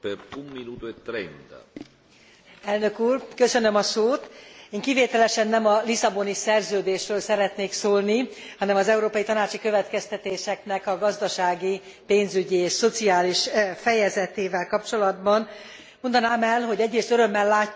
Én kivételesen nem a Lisszaboni Szerződésről szeretnék szólni, hanem az európai tanácsi következtetéseknek a gazdasági, pénzügyi és szociális fejezetével kapcsolatban mondanám el, hogy egyrészt örömmel látjuk, hogy a pénzügyi stabilizálódás jelei